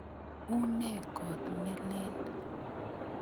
Une kot ne lel?